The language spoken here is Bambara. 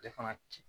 Ale fana ki